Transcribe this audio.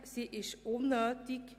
Sie ist unnötig.